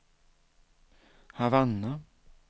Havanna